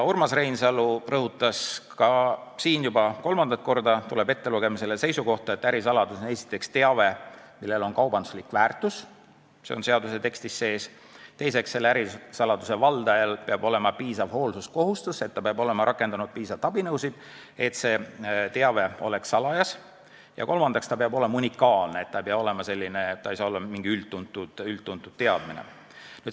Urmas Reinsalu rõhutas ka siin – juba kolmandat korda tuleb see seisukoht ettelugemisele –, et ärisaladus on esiteks teave, millel on kaubanduslik väärtus , teiseks, ärisaladuse valdaja peab olema täitnud piisavat hoolsuskohustust, ta peab olema rakendanud piisavalt abinõusid, et see teave oleks salajas, kolmandaks, see teave peab olema unikaalne, see ei saa olla mingi üldtuntud teadmine.